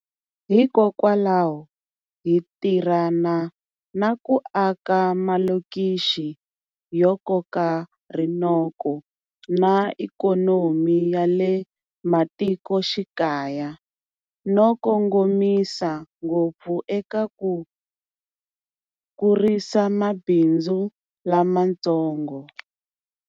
Hikokwalaho hi tirhana na ku aka malokixi yo koka rinoko na ikhonomi ya le matiko xikaya, no kongomisa ngopfu eka ku kurisa mabindzu lamatsongo.